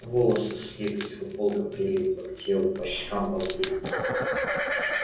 волосы слиплись футболка прилипла к телу по щекам ползли